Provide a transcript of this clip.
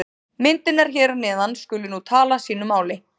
Myndirnar hér að neðan skulu nú tala sínu máli.